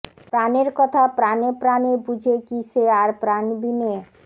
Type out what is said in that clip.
প্ৰাণের কথা প্ৰাণে প্ৰাণে বুঝে কি সে আর প্রাণ বিনে